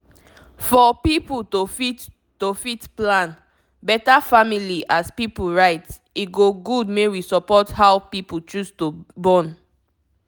for pipu to fit to fit plan beta family as pipu right e go good make we support how people choose to born